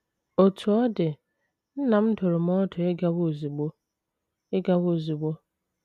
Otú ọ dị, nna m dụrụ m ọdụ ịgawa ozugbo. ịgawa ozugbo.